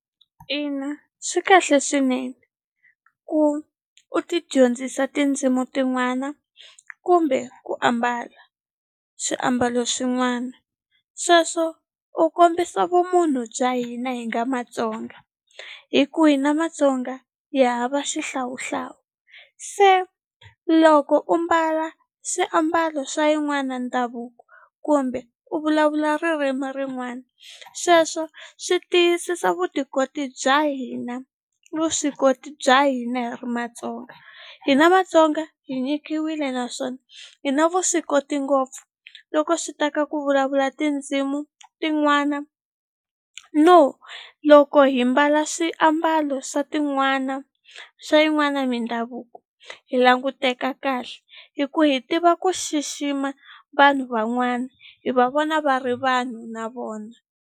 Ina swi kahle swinene ku u tidyondzisa tindzimu tin'wana kumbe ku ambala swiambalo swin'wana sweswo u kombisa vumunhu bya hina hi nga Matsonga hi ku hina Matsonga hi hava xihlawuhlawu se loko u mbala swiambalo swa yin'wana ndhavuko kumbe u vulavula ririmi rin'wana sweswo swi tiyisisa vutikoti bya hina vuswikoti bya hina hi ri Matsonga hina Matsonga hi nyikiwile naswona hi na vuswikoti ngopfu loko swi ta ka ku vulavula tindzimu tin'wana no loko hi mbala swiambalo swa tin'wana swa yin'wana mindhavuko hi languteka kahle hi ku hi tiva ku xixima vanhu van'wana hi va vona va ri vanhu na vona.